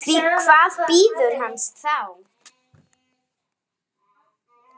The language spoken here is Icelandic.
Því hvað bíður hans þá?